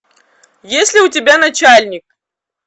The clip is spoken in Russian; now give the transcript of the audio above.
есть ли у тебя начальник